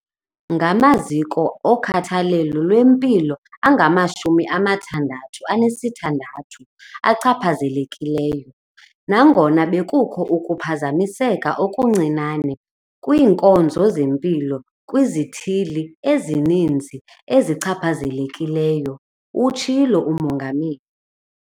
"Ngamaziko okhathalelo lwempilo angamashumi amathandathu anesithandathu achaphazelekileyo, nangona bekukho ukuphazamiseka okuncinane kwiinkonzo zempilo kwizithili ezininzi ezichaphazelekileyo," utshilo uMongameli.